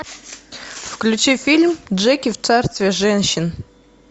включи фильм джеки в царстве женщин